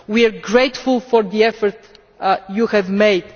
We are grateful for the effort you have made.